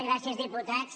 gràcies diputats